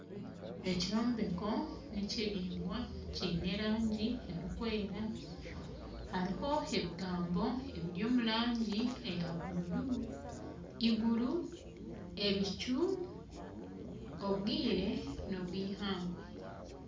Ekyombeko nikiringwa kiine erangi erikwewera hariho ebigambo ebiri omurangi eya buru, iguru , ebicu ,obwire n'obwihangwe.